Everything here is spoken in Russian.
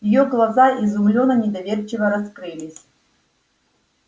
её глаза изумлённо и недоверчиво раскрылись